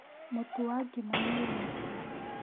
Mũtu wa ngima nĩ ũgwĩte?